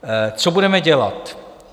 Co budeme dělat?